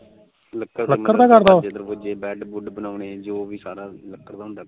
bed ਬੂਡ ਬਣਾਣੇ ਜੋ ਵੀ ਸਾਰਾ ਕੁਝ